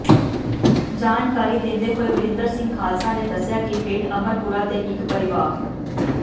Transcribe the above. ਜਾਣਕਾਰੀ ਦਿੰਦੇ ਹੋਏ ਵਰਿੰਦਰ ਸਿੰਘ ਖਾਲਸਾ ਨੇ ਦੱਸਿਆ ਕਿ ਪਿੰਡ ਅਮਰਪੂਰਾ ਦੇ ਇਕ ਪਰਿਵਾ